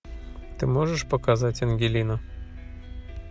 ты можешь показать ангелину